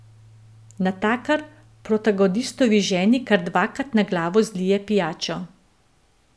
Natakar protagonistovi ženi kar dvakrat na glavo zlije pijačo.